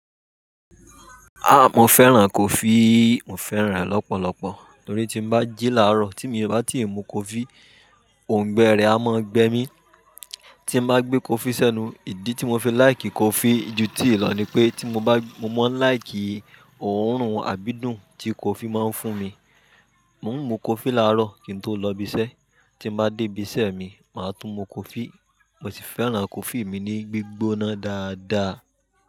Ah! Mo fẹ́ràn kọfí, mo fẹ́ràn rẹ̀ lọ́pọ̀lọpọ̀. Nítorí tí mo bá jíla ró, tí mo bá tíì mu kọfí, òǹgbẹ rẹ̀ á mọ́ gbé mi. Tí mo bá gbé kọfí sẹ́nu, ìdí tí mo fi láìkì kọfí ju tíì lọ ní pé, tí mo bá, mo mọ́ ń láìkì òórùn àbídùn tí kọfí máa ń fún mi. Mo ń mu kọfí láàárọ̀ kí n tó lọ ibi iṣẹ́. Tí mo bá dé ibi iṣẹ́ mi, màá tún mu kọfí. Mo si fẹ́ràn kọfí mi ni gbígbóná dáadáa.